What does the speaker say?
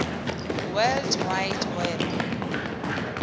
world wide web